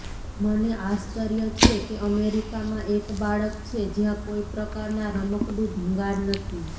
મને આશ્ચર્ય છે કે અમેરિકામાં એક બાળક છે જ્યાં કોઈ પ્રકારના રમકડું ભંગાર નથી